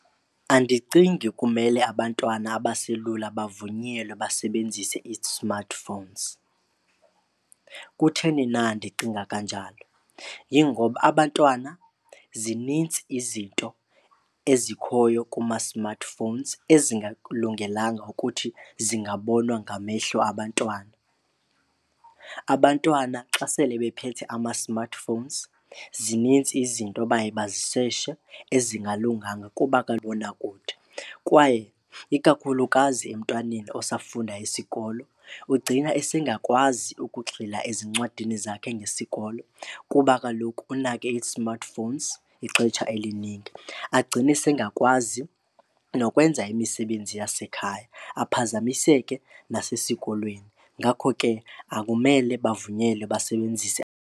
Andicingi kumele abantwana abaselula bavunyelwe basebenzise ii-smartphones. Kutheni na ndicinga kanjalo? Yingoba abantwana zinintsi izinto ezikhoyo kuma-smartphones ezingakulungelanga ukuthi zingabonwa ngamehlo abantwana. Abantwana xa sele bephethe ama-smartphones zinintsi izinto baye bazisetshe ezingalunganga kuba . Kwaye ikakhulukazi emntwaneni osafunda isikolo ugcina esengakwazi ukugxila ezincwadini zakhe ngesikolo kuba kaloku unake i-smart phones ixetsha eliningi. Agcine sengakwazi nokwenza imisebenzi yasekhaya aphazamiseke nasesikolweni, ngakho ke akumele bavunyelwe basebenzise.